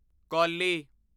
ਕੌਲੀ